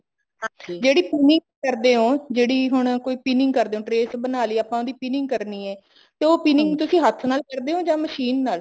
ਹਾਂ ਜਿਹੜੀ ਪੁਨੀ ਕਰਦੇ ਓ ਜਿਹੜੀ ਹੁਣ pining ਕਰਦੇ ਹੋ trace ਬਣਾਲੀ ਆਪਾਂ ਉਹਦੀ pining ਕਰਨੀ ਹੈ ਉਹ pining ਨੂੰ ਤੁਸੀਂ ਹੱਥ ਕਰਦੇ ਹੋ ਜਾਂ ਮਸ਼ੀਨ ਨਾਲ